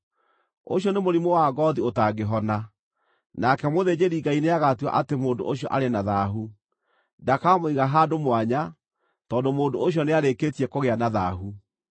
ũcio nĩ mũrimũ wa ngoothi ũtangĩhona, nake mũthĩnjĩri-Ngai nĩagatua atĩ mũndũ ũcio arĩ na thaahu. Ndakamũiga handũ mwanya, tondũ mũndũ ũcio nĩarĩkĩtie kũgĩa na thaahu.